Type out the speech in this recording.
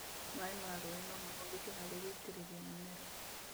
Maĩ ma rũĩ nomahũthĩke harĩ gũitĩrĩria mĩmera